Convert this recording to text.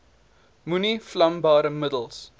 moenie vlambare middels